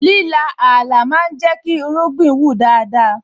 Líla Ààlà ma ń jẹ́ kí irúgbìn wù dáadáa